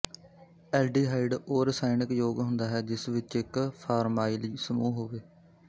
aldehyde ਉਹ ਰਸਾਇਣਕ ਯੋਗ ਹੁੰਦਾ ਹੈ ਜਿਸ ਵਿੱਚ ਇੱਕ ਫ਼ਾਰਮਾਈਲ ਸਮੂਹ ਹੋਵੇ